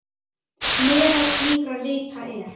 Meðal slíkra rita er